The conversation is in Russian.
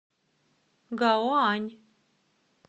гаоань